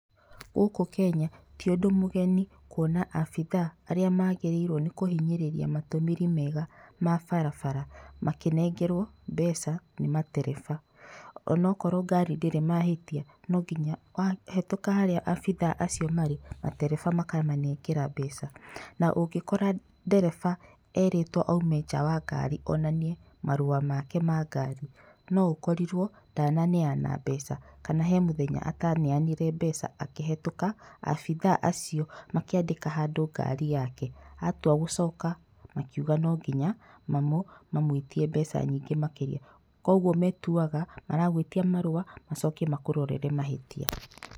Gũkũ Kenya, ti ũndũ mũgeni kuona abithaa arĩa maagĩrĩirwo nĩ kũhinyĩrĩria matũmĩri mega ma barabara makĩnegerwo mbeca ni matereba. Onokorwo gari ndĩrĩ mahitia, wahĩtũka harĩa abithaa acio marĩ, matereba makamanegera mbeca. Na ũngĩkora ndereba erĩtwo aume nja wa ngari onanie marũa make ma ngari, no akorirwo ndananeana mbeca kana he mũthenya ataneanire mbeca akĩhetũka, abithaa acio makĩandĩka handũ ngari yake, atuagũcoka makiuga no nginya mamũĩtie mbeca nyingĩ makĩria. Koguo, metuaga maragũĩtia marũa macoke makũrorere mahĩtia.